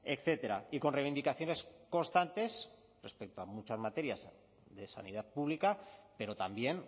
etcétera y con reivindicaciones constantes respecto a muchas materias de sanidad pública pero también